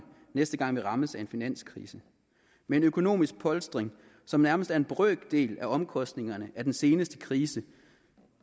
næste gang vi rammes af en finanskrise med en økonomisk polstring som nærmest er en brøkdel af omkostningerne af den seneste krise